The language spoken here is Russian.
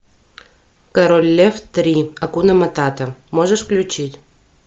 король лев три акуна матата можешь включить